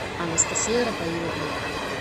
анастасия рафаиловна